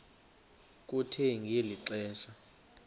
kuthe ngeli xesha